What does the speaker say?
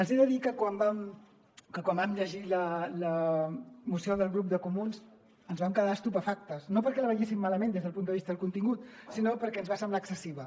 els he de dir que quan vam llegir la moció del grup de comuns ens vam quedar estupefactes no perquè la veiéssim malament des del punt de vista del contingut sinó perquè ens va semblar excessiva